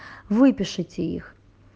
выпишите их